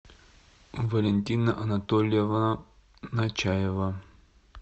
валентина анатольевна начаева